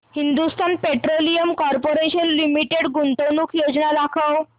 Hindustan petroleum corporation limited गुंतवणूक योजना दाखव